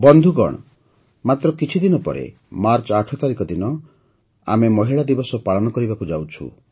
ବନ୍ଧୁଗଣ ମାତ୍ର କିଛିଦିନ ପରେ ମାର୍ଚ୍ଚ ୮ ତାରିଖ ଦିନ ଆମେ ମହିଳା ଦିବସ ପାଳନ କରିବାକୁ ଯାଉଛୁ